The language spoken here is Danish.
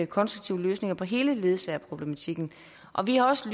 konstruktive løsninger på hele ledsagerproblematikken og vi har også